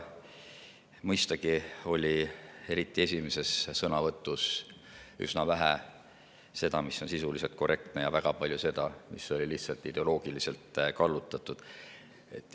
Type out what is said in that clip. Mõistagi oli eriti esimeses sõnavõtus üsna vähe seda, mis oli sisuliselt korrektne, ja väga palju seda, mis oli lihtsalt ideoloogiliselt kallutatud.